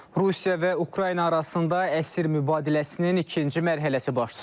Rusiya və Ukrayna arasında əsir mübadiləsinin ikinci mərhələsi baş tutub.